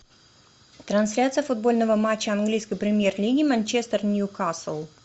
трансляция футбольного матча английской премьер лиги манчестер ньюкасл